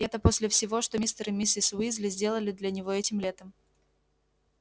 это после всего что мистер и миссис уизли сделали для него этим летом